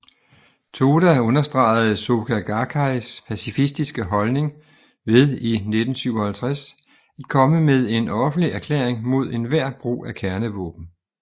Toda understregede Soka Gakkais pacifistiske holdning ved i 1957 at komme med en offentlig erklæring mod enhver brug af kernevåben